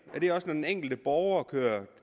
er det også når den enkelte borger kører